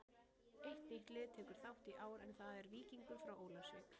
Eitt nýtt lið tekur þátt í ár en það er Víkingur frá Ólafsvík.